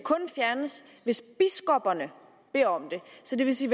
fjernes hvis biskopperne beder om det så det vil sige